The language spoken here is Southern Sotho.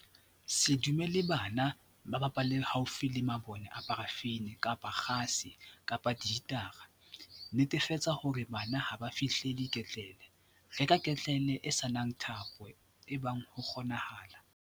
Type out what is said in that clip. Se dumelle bana ho bapalla haufi le mabone a parafini kapa a kgase kapa dihitara. Netefatsa hore bana ha ba fihlelle ketlele. Reka ketlele e se nang thapo ebang ho kgoneha.